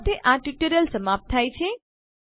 આ સાથે આ ટ્યુટોરીયલ સમાપ્ત થાય છે